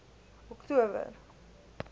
oktober